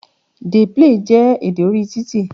"Dey play" jẹ́ èdè orí titi.